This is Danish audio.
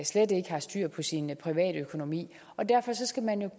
slet ikke har styr på sin privatøkonomi derfor skal man jo